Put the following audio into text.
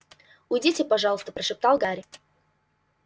уйдите пожалуйста прошептал гарри